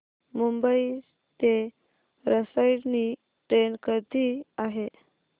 मुंबई ते रसायनी ट्रेन कधी आहे